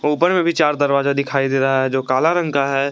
ऊपर में भी चार दरवाजा दिखाई दे रहा है जो काला रंग का है।